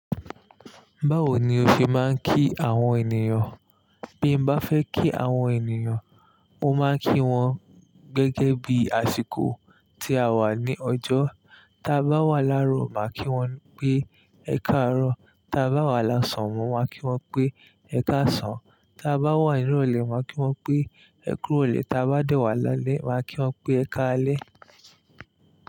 Báwo ni o fi máa ń kí àwọn ènìyàn? Bí mo bá fẹ́ kí àwọn ènìyàn, mo máa ń kí wọn gẹ́gẹ́ bí àsìkò tí a wà ní ọjọ́. Tí a bá wà láàárọ̀ máa kí wọn pé "ẹ káàárọ̀", tí a bá wà lásàn máa kí wọn pé "ẹ káàsán", tí a bá wà ní ìrọ̀lẹ́ máa kí wọn pé "ẹ kú ìrọ̀lẹ́", tí a bá dẹ́wàá lálẹ́ máa kí wọn pé "ẹ káalẹ́".